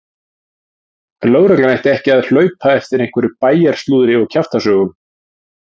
Lögreglan ætti ekki að hlaupa eftir einhverju bæjarslúðri og kjaftasögum!